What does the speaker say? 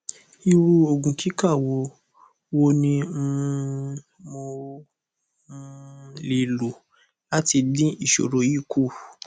iru ogun kika wo wo ni um mo um le lo lati din isoro yi ku